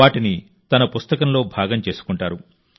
వాటిని తన పుస్తకంలో భాగం చేసుకుంటారు